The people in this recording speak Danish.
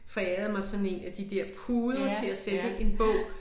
Forærede mig sådan en af de der puder til at sætte en bog